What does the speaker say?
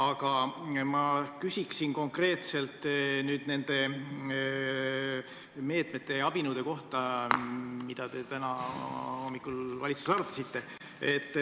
Aga ma küsin konkreetselt nende meetmete kohta, mida te täna hommikul valitsuses arutasite.